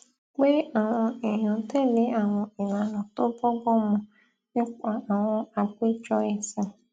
pé àwọn èèyàn tèlé àwọn ìlànà tó bógbón mu nípa àwọn àpéjọ èsìn